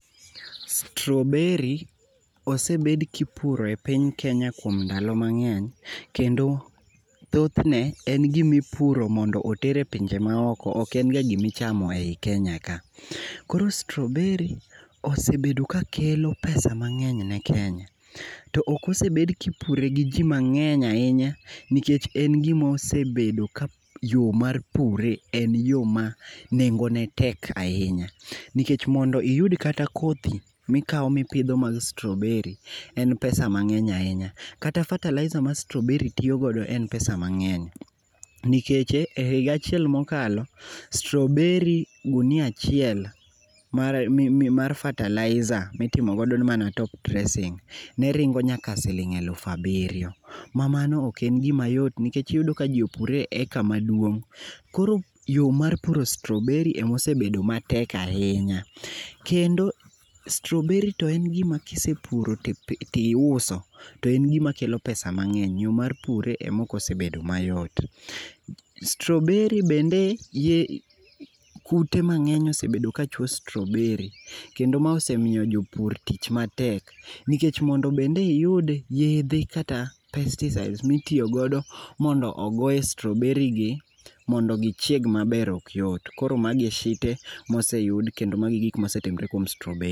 Strawberry osebed kipuro e piny Kenya kuom ndalo mangeny kendo thoth ne en gimi puro mondo oter e pinje maoko oken ga gima ichamo ei kenya ka. Koro Strawberry osebedo kakelo pesa mangeny ne Kenya to ok osebed kipure gi jii mangeny ahinya nikech en gim aosebedo ka yoo mar pure en yoo ma nengo ne tek ahinya nikech mondo oyud kata kothe mikao mipidho mar Strawberry en pesa mangeny ahinya, kata fertilizer ma strawberry tiyogo en pesa mangeny. Nikech e higa acheil mokalo Strawberry gunia achiel mar fertilizer mitimo godo mana top dressing neringo nyaka siling aful abirio mamano oken gima yot nikech iyudo ka jii opure e eka maduong. Koro yoo mar puro Strawberry ema osebedo matek ahinya, kendo strawberry en gima kisepuro tiuso to en gima kelo pesa mangeny, yoo mar pure ema ok osebedo mayot. Strawberry bende, kute mangeny osebedo ka chuo Strawberry kendo ma osemiyo jopur tich matek nikech mondo bede iyud yedhe kata pesticides mitiyo godo mondo ogo e Strawberry gi mondo gichieg maber ok yot. Koro mago e shite moseyud kendo mago e gik mosetimore kuom Strawberry